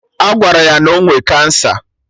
Agwara ya na ọ nwe cancer